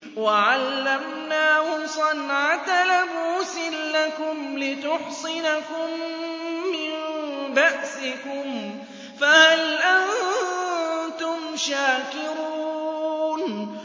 وَعَلَّمْنَاهُ صَنْعَةَ لَبُوسٍ لَّكُمْ لِتُحْصِنَكُم مِّن بَأْسِكُمْ ۖ فَهَلْ أَنتُمْ شَاكِرُونَ